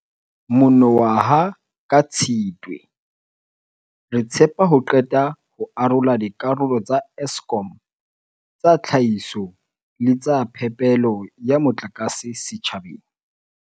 Mono waha ka Tshitwe, re tshepa ho qeta ho arola dikarolo tsa Eskom tsa tlhahiso le tsa phepelo ya motlakase setjhabeng.